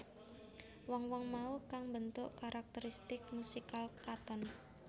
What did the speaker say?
Wong wong mau kang mbentuk karakteristik musikal Katon